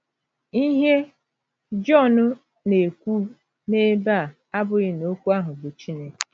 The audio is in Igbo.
Ihe Jọn na - ekwu n’ebe a abụghị na Okwu ahụ bụ Chineke.